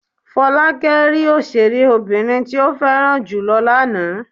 Fọlákẹ́ rí òṣèré obìnrin tí ó fẹ́ràn jù lọ lánàá.